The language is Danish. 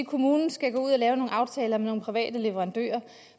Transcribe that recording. kommunen skal gå ud og lave nogle aftaler med nogle private leverandører